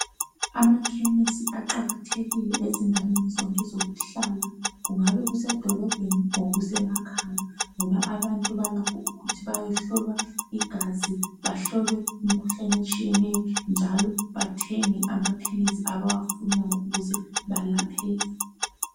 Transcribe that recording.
Amakhemisi aqakathekile ezindaweni zonke zokuhlala kungaba kusedolobheni or semakhaya ngoba abantu balakho ukuthi bayehlolwa igazi bahlolwe imikhuhlane etshiyeneyo njalo bathenge amaphilizi abawafunayo ukuze balapheke.